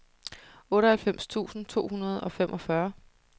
otteoghalvfems tusind to hundrede og femogfyrre